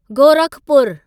गोरखपूरु